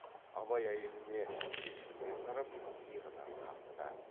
абай әйеліне кешіріммен қарап иығынан қақты да